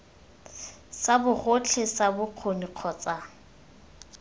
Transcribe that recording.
sa bogotlhe sa bokgoni kgotsa